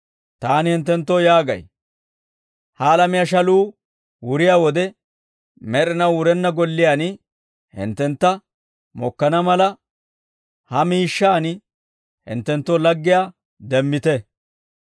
«Taani hinttenttoo yaagay, ‹Ha alamiyaa shaluu wuriyaa wode, med'inaw wurenna golliyaan hinttentta mokkana mala, ha miishshaan hinttenttoo laggiyaa demmite.